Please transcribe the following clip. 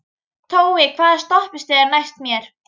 Tói, hvaða stoppistöð er næst mér?